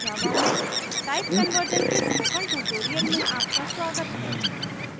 java में type conversion के spoken tutorial में आपका स्वागत है